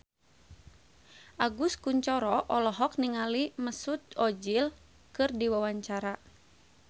Agus Kuncoro olohok ningali Mesut Ozil keur diwawancara